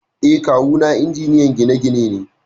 Eh, Kawu na injiniyan gine-gine ne.